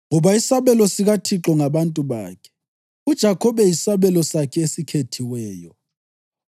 Ngoba isabelo sikaThixo ngabantu bakhe, uJakhobe yisabelo sakhe esikhethiweyo.